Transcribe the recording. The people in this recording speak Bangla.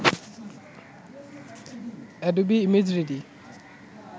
Adobe ImageReady